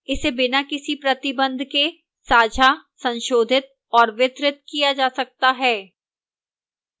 इसे बिना किसी प्रतिबंध के साझा संशोधित और वितरित किया जा सकता है